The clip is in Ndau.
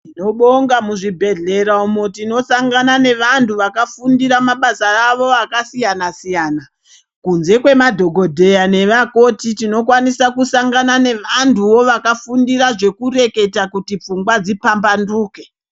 Tinobonga muzvibhedhlera umu tinosangana nevantu vakafundira mabasa avo akasiyana-siyana. Kunze kwemadhogodheya nevakoti tinokwanisa kusangana nevantuvo vakafundira zvekureketa kuti pfungwa dzipamba nduke.